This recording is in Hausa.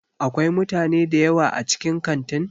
Akwai mutane dayawa a cikin Kantin?